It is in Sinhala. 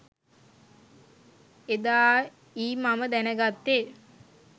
එදා යි මම දැනගත්තේ